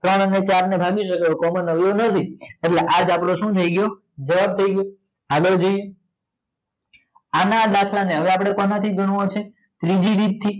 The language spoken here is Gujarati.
ત્રણ ને ચાર ને ભાગી સકે એવો કોઈ કોમોન અવયવ નથી તો આ અપડો સુ થાય ગયો જવાબ થાય ગયો તો આગળ જઈએ એ આને આજ દાખલ ને હવે આપડે કોણ થી ગણવો છે ત્રીજી રીત થી